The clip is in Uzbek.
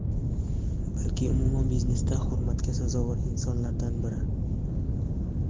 balki umuman biznesda hurmatga sazovor insonlardan biri.